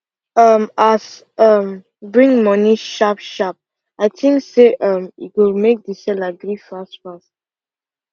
um as um bring money sharp sharp i think say um e go make the seller gree fast fast